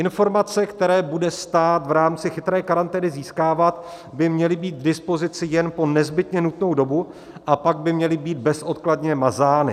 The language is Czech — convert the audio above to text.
Informace, které bude stát v rámci chytré karantény získávat, by měly být k dispozici jen po nezbytně nutnou dobu, a pak by měly být bezodkladně mazány.